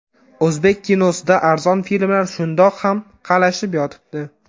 O‘zbek kinosida arzon filmlar shundoq ham qalashib yotibdi.